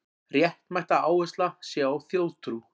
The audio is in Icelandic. Réttmætt að áhersla sé á þjóðtrú